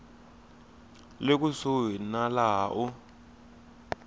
le kusuhi na laha u